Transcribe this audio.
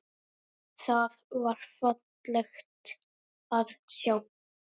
Það var fallegt að sjá.